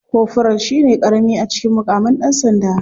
Koforal shine karami a cikin mukaman dan sanda.